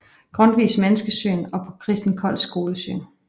Grundtvigs menneskesyn og på Christen Kolds skolesyn